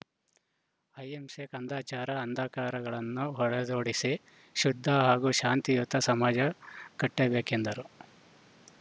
ಆಹಿಂಸೆ ಕಂದಚಾರ ಅಂದಕಾರಗಳನ್ನು ಹೊಡೆದೊಡಿಸಿ ಶುದ್ಧ ಹಾಗೂ ಶಾಂತಿಯುತ ಸಮಾಜ ಕಟ್ಟಬೇಕೆಂದರು